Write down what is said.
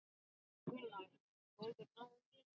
Gunnar: Góður náungi?